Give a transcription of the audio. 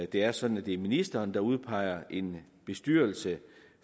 det er sådan at det er ministeren der udpeger en bestyrelse